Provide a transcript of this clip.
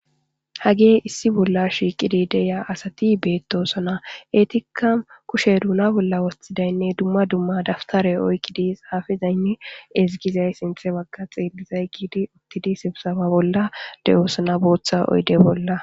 hagee issi bolla shiiqidi deya asati beettosona etika kushe duuna bolla woththidaynne dumma dumma daftare oykki di xaafizaynne ezigizay sinthe wagga xeelizay giidi uttidisibsaba bolla de7oosona booththa oyde bolla